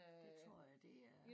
Det tror jeg det er